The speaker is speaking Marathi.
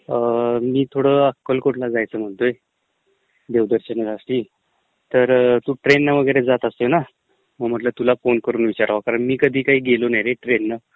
अअअ... मी थोडं अक्कलकोटला जायचं म्हणतोय, देवदर्शनासाठी. तर तू ट्रेनने वैगरे जात असतोय ना, मग म्हटलं तुला फोन करून विचारावं कारण मी कधी काही गेलो नाही रे ट्रेननं.